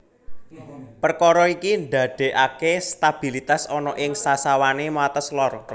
Perkara iki ndaddekake stabilitas ana ing sasawane wates lor